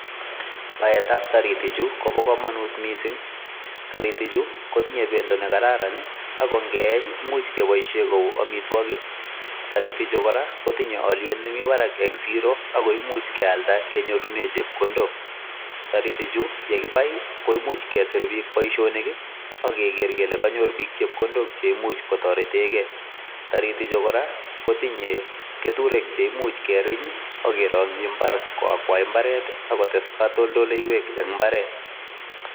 Baetab toritichu, koba kamanut mising. Toritichu kotinye bendo negararan ago ngeeny komuch keboisien kou amwitwogik. Toritichu kotinye alyet nemibarak eng siro ak koimuch kealda kenyorunen chepkondok. Toritichu yegibai koimuch kesir biik boisionik ak keger kele kanyor chepkondok che imuch kotoretegei. Torichu kora kotinye keturek che imuch keerinyii ak kerongchi mbar koakwai imbaret ak kotes katoldoleiywek eng mbaret